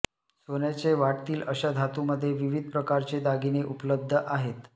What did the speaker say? सोन्याचे वाटतील अशा धातूमध्ये विविध प्रकारचे दागिने उपलब्ध आहेत